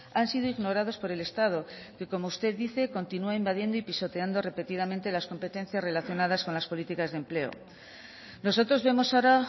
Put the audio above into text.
han sido ignorados por el estado que como usted dice continúan invadiendo y pisoteando repetidamente las competencias relacionadas con las políticas de empleo nosotros vemos ahora